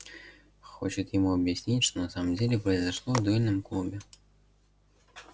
хочет ему объяснить что на самом деле произошло в дуэльном клубе